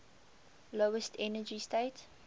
lowest energy state